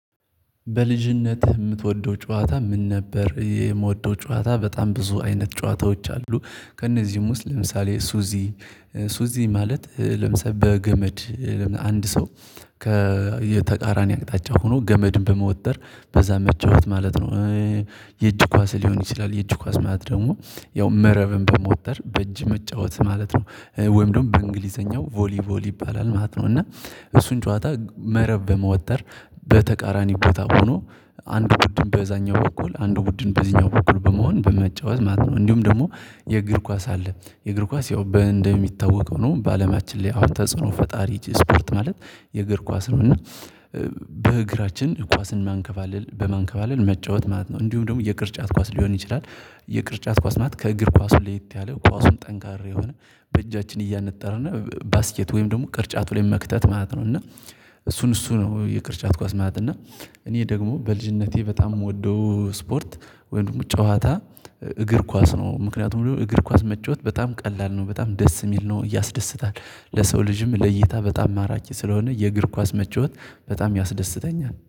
በልጅነትህ የምትወደው ጨዋታ ምን ነበር? የምወደው ጨዋታ በጣም ብዙ አይነት ጨዋታዎች አሉ ከእነዚህም ውስጥ ለምሳሌ ሱዚ ሱዚ ማለት ለምሳሌ በገመድ አንድ ሰው ከተቃራኒ አቅጣጫ ሆኖ ገመድን በመውጠር በዛ መጨወት ማለት ነው። የእጅ ኳስ ሊሆን ይችላል የእጅ ኳስ ማለት ደግሞ ያው መረብን በመውጠር በእጅ መጫወት ማለት ነው ወይም ደግሞ በእንግሊዘኛው ቮሊ ቮሊ ይባላል ማለት ነው። እና እሱን ጨዋታ መረብ በመወጠር በተቃራኒ ቦታ ሆኖ አንድ ቡድን በዛኛው በኩል አንድ ቡድን በዚህኛው በኩል በመሆን በመጫወት ማለት ነው። እንዲሁም ደግሞ የእግር ኳስ አለ የእግር ኳስ ያው በእንደሚታወቀው ነው በአለማችን ላይ አሁን ተጽዕኖ ፈጣሪ ስፖርት ማለት የእግር ኳስ እና በእግራችን ኳስን ማንከባለል በማንከባለል መጫወት ማለት ነው። እንዲሁም ደግሞ የቅርጫት ኳስ ሊሆን ይችላል። የቅርጫት ኳስ ማት ከእግር ኳሱ ለየት ያለ ኳሱም ጠንካራ የሆነ በእጃችን እያነጠራና ባስኬት ወይም ደግሞ ቅርጫቱ ላይ መክተት ማለት ነው። እና እሱን እሱ ነው የቅርጫት ኳስ ማለት እና እኔ ደግሞ በልጅነቴ በጣም የምወደው ስፖርት ወይም ጨዋታ እግር ኳስ ነው። ምክንያቱም እግር ኳስ መጫወት በጣም ቀላል ነው በጣም ደስ የሚል ነው። እያስደስታል ለሰው ልጅም ለይታ በጣም ማራጭ ስለሆነ የእግር ኳስ መጫወት በጣም ያስደስተኛል